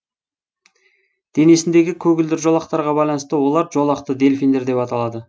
денесіндегі көгілдір жолақтарға байланысты олар жолақты дельфиндер деп аталады